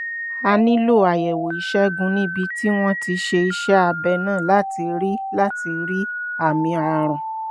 a nílò àyẹ̀wò ìṣègùn níbi tí wọ́n ti ṣe iṣẹ́ abẹ náà láti rí àmì láti rí àmì ààrùn